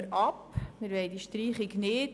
Wir wollen die Streichung nicht.